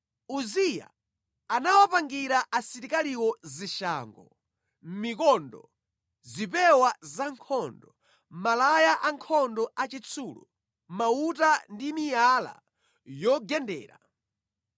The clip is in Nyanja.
Uziya anawapangira asilikaliwo zishango, mikondo, zipewa zankhondo, malaya ankhondo achitsulo, mauta ndi miyala yogendera.